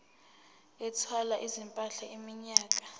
ethwala izimpahla iminyaka